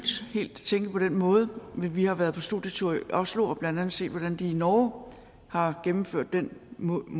tænke på den måde men vi har været på studietur i oslo og blandt andet set hvordan de i norge har gennemført den model